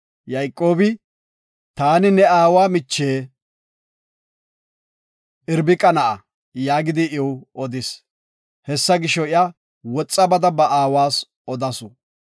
Yayqoobi, “Taani ne aawa miche Irbiqa na7a” yaagidi iw odis. Hessa gisho, iya woxa bada ba aawas odasu.